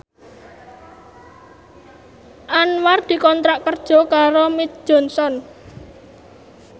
Anwar dikontrak kerja karo Mead Johnson